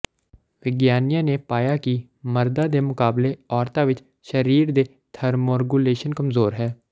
ਵਿਗਿਆਨੀਆਂ ਨੇ ਪਾਇਆ ਕਿ ਮਰਦਾਂ ਦੇ ਮੁਕਾਬਲੇ ਔਰਤਾਂ ਵਿੱਚ ਸਰੀਰ ਦੇ ਥਰਮੋਰਗੂਲੇਸ਼ਨ ਕਮਜ਼ੋਰ ਹੈ